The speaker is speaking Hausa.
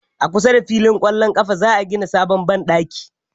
A kusa da fillin kwallo ƙafa za a gina sabon banɗakin